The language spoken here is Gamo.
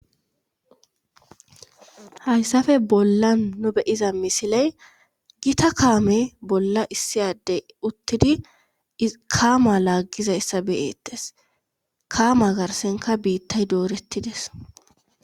Haysape bollan nu be7iza misile gita kaame bolla issi ade uttidi i kaamaa laaggizayssa be7eettes kaamaa garssenkka biittay dooretti des.